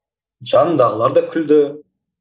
жанымдағылар да күлді